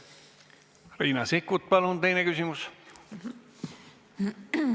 Riina Sikkut, palun teine küsimus!